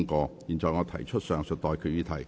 我現在向各位提出上述待決議題。